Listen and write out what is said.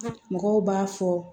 Mɔgɔw b'a fɔ